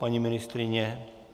Paní ministryně?